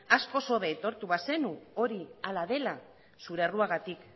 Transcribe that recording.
askoz hobe aitortu bazenu hori hala dela zure erruagatik